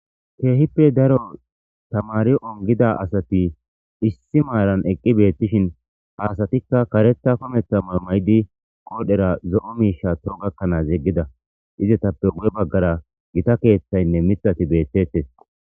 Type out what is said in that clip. Keehippe daro tamari ongida asati issi maaran eqqi beettishin haasatikka kareta kometha mamaydi qoodhera zo'o miisha to gakkanaas yeggida ize tappe wu7e baggara gita keeththaynne mixati beettettes.